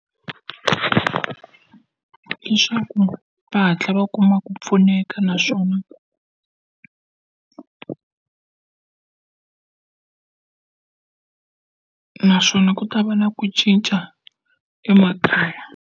Leswaku va hatla va kuma ku pfuneka naswona naswona ku ta va na ku cinca emakaya.